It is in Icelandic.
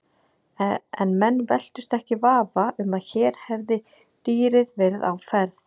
En menn velktust ekki í vafa um að hér hefði dýrið verið á ferð.